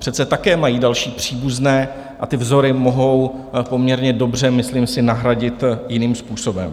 Přece také mají další příbuzné a ty vzory mohou poměrně dobře, myslím si, nahradit jiným způsobem.